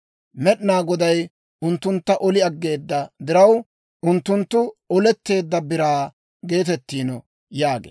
Med'inaa Goday unttuntta oli aggeeda diraw, unttunttu Oletteedda Biraa geetettiino» yaagee.